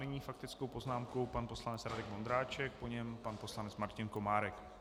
Nyní faktickou poznámku pan poslanec Radek Vondráček, po něm pan poslanec Martin Komárek.